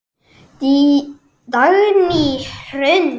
Dagný Hrund.